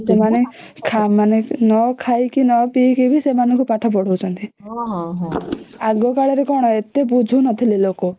ସେମାନେ ନ ଖାଇକି ନ ପିଇକି ବି ସେମାନଙ୍କୁ ପାଠ ପଢ଼ାଉଛନ୍ତି ଆଗ କଲେ ରେ କଣ ଏତେ ବୁଝୁ ନଥିଲେ ଲୋକ